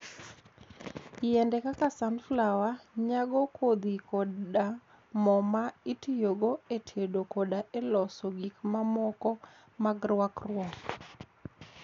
Yiende kaka sunflower nyago kodhi koda mo ma itiyogo e tedo koda e loso gik mamoko mag rwakruok.